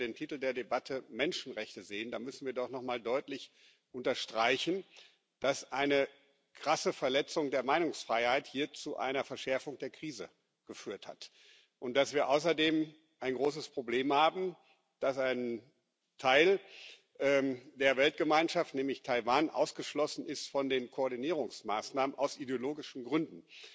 Aber wenn wir den Titel der Debatte Menschenrechte sehen, dann müssen wir doch noch einmal deutlich unterstreichen, dass hier eine krasse Verletzung der Meinungsfreiheit zu einer Verschärfung der Krise geführt hat und dass wir außerdem ein großes Problem haben dass ein Teil der Weltgemeinschaft, nämlich Taiwan, ausgeschlossen ist von den Koordinierungsmaßnahmen aus ideologischen Gründen.